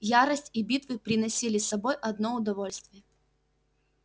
ярость и битвы приносили с собой одно удовольствие